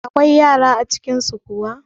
Akwai yara a cikin su kuwa?